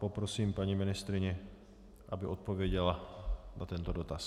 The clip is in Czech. Poprosím paní ministryni, aby odpověděla na tento dotaz.